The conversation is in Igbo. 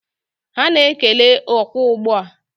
Ha na-ekele okwu ugbu a